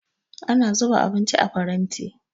Ana zuba abinci a faranti